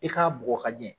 I k'a bugɔ ka ɲɛ